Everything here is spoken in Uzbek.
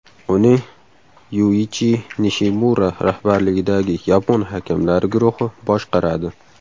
Uni Yuichi Nishimura rahbarligidagi yapon hakamlari guruhi boshqaradi.